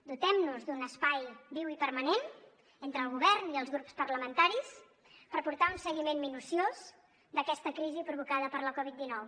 dotem nos d’un espai viu i permanent entre el govern i els grups parlamentaris per portar un seguiment minuciós d’aquesta crisi provocada per la covid dinou